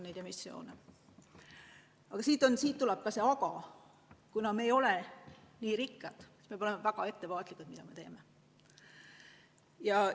Ent siin on ka üks "aga": kuna me ei ole kuigi rikkad, peame olema väga ettevaatlikud, tehes seda, mida me teeme.